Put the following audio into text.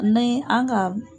Ni an ka